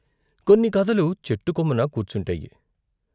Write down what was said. కొన్ని కథలు చెట్టు కొమ్మన కూర్చుంటాయి.